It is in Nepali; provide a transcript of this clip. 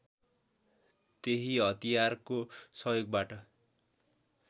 त्यही हतियारको सहयोगबाट